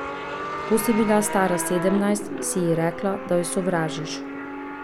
Ko si bila stara sedemnajst, si ji rekla, da jo sovražiš.